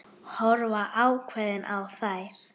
Horfa ákveðin á þær.